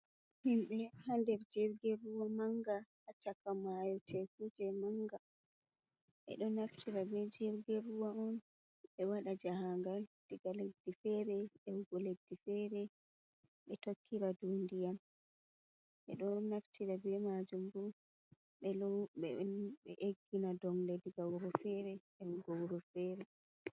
Himbe haader jirge ruwa manga, hachaka mayo teeku nee manga, ɓe ɗo naftira be jirge ruwa on be wada jahagal, diga leddi fere e wugo leddi fere, ɓe tokkira dow ndiyan. Ɓe ɗo naftira be majum bu ɓe eggina donle diga wuro fere e wugo wuro fere.